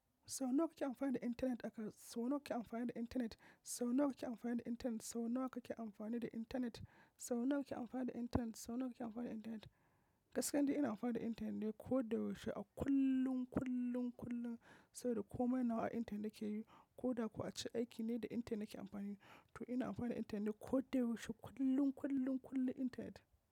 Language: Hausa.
Sau nawa kake amfani da intanet? Aka-- sau nawa kake amfani da intanet? Sau nawa kake amfani da intanet? Sau nawa kake amfani da intanet? Sau nawa kake amfani da intanet? Sau nawa kake amfani da intanet? Gaskiya nidai ina amfani da intanet ne ko da yaushe a kullum, kullum, kullum, saboda komai nawa a intanet na ke yi, ko da kuwa a ce aiki ne da intanet na ke amfani. To ina amfani da intanet ne koda yaushe kullum, kullum, kullum intanet.